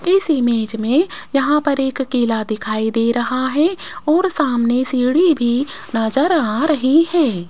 इस इमेज में यहां पर एक केला दिखाई दे रहा है और सामने सीढ़ी भी नजर आ रही है।